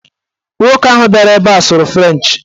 Nwoke ahụ bịara ebe a sụrụ frenchị